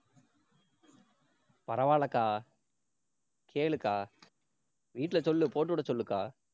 பரவாயில்லைக்கா. கேளுக்கா வீட்ல சொல்லு போட்டு விட சொல்லுக்கா.